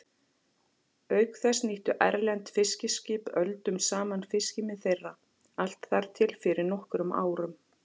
Auk þess nýttu erlend fiskiskip öldum saman fiskimið þeirra, allt þar til fyrir nokkrum árum.